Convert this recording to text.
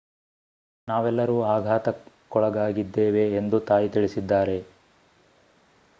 ನಾವೆಲ್ಲರೂ ಆಘಾತಕ್ಕೊಳಗಾಗಿದ್ದೇವೆ ಎಂದು ತಾಯಿ ತಿಳಿಸಿದ್ದಾರೆ